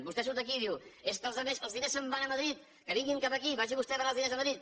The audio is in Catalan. vostè surt aquí i diu és que els diners se’n van a madrid que vinguin cap aquí vagi vostè a donar els diners a madrid